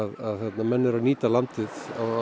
menn eru að nýta landið á